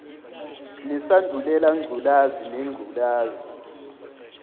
nesandulela ngculazi nengculazi